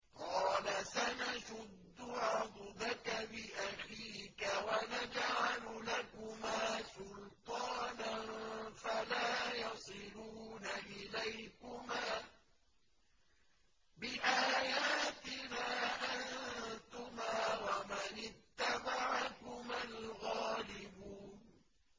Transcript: قَالَ سَنَشُدُّ عَضُدَكَ بِأَخِيكَ وَنَجْعَلُ لَكُمَا سُلْطَانًا فَلَا يَصِلُونَ إِلَيْكُمَا ۚ بِآيَاتِنَا أَنتُمَا وَمَنِ اتَّبَعَكُمَا الْغَالِبُونَ